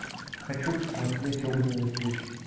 хочу посмотреть огненный путь